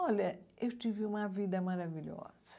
Olha, eu tive uma vida maravilhosa.